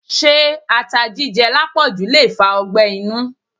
Se ata jíjẹ lápòjù le fa ọgbẹ́ inú?